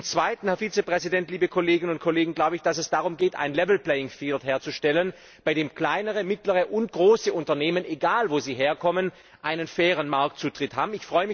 Zum Zweiten, Herr Vizepräsident, liebe Kolleginnen und Kollegen, glaube ich, dass es darum geht, ein level playing field herzustellen, bei dem kleinere, mittlere und große Unternehmen, egal wo sie herkommen, einen fairen Marktzutritt haben.